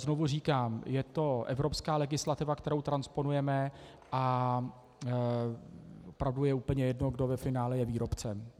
Znovu říkám, je to evropská legislativa, kterou transponujeme, a opravdu je úplně jedno, kdo je ve finále výrobcem.